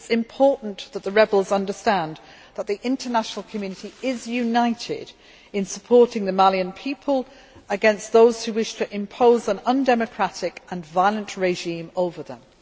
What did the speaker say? It is important that the rebels understand that the international community is united in supporting the Malian people against those who wish to impose an undemocratic and violent regime on them.